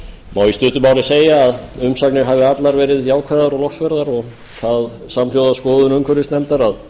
í stuttu máli segja að umsagnir hafi allar verið jákvæðar og lofsverðar og það samhljóða skoðun umhverfisnefndar að